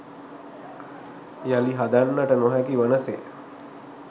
යළි හදන්නට නොහැකි වන සේ